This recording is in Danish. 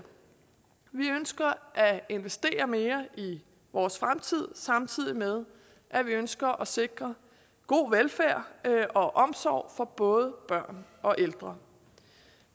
vi ønsker at investere mere i vores fremtid samtidig med at vi ønsker at sikre god velfærd og omsorg for både børn og ældre